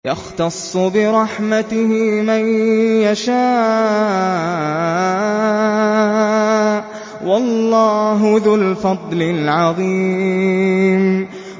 يَخْتَصُّ بِرَحْمَتِهِ مَن يَشَاءُ ۗ وَاللَّهُ ذُو الْفَضْلِ الْعَظِيمِ